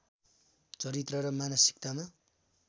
चरित्र र मानसिकतामा